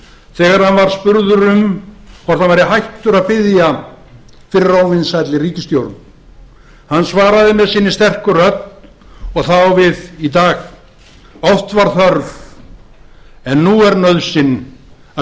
þegar hann var vændur um að vera hættur að biðja fyrir óvinsælli ríkisstjórn í dómkirkjunni hann svaraði með sinni sterku rödd og það á við í dag oft var þörf en nú er nauðsyn að